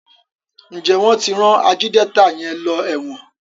Njé wón tí ran Ajídétà yén ló èwòn?